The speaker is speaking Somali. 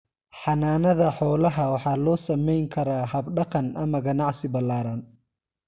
Xanaanada xoolaha waxa loo samayn karaa hab dhaqan ama ganacsi balaadhan.